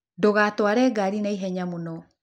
Ndũgatware garĩ naĩhenya mũno.